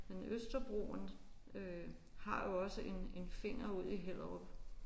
Men Østerbroen øh har jo også en en finger ud i Hellerup